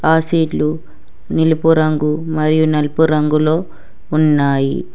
ఆ సీట్లు నిలుపు రంగు మరియు నలుపు రంగులో ఉన్నాయి.